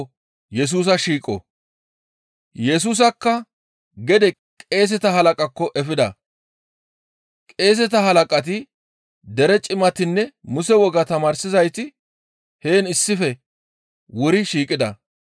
Yesusakka gede qeeseta halaqaakko efida; qeeseta halaqati, dere cimatinne Muse wogaa tamaarsizayti heen issife wuri shiiqida.